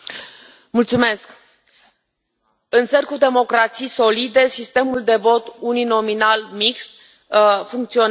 Mulțumesc, în țări cu democrații solide sistemul de vot uninominal mixt funcționează.